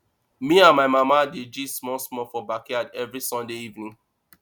me and my mama dey gist small small for backyard every sunday evening